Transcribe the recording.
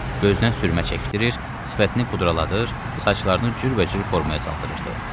Gözünə sürmə çəkdirir, sifətini pudraladır, saçlarını cürbəcür formaya saldırırdı.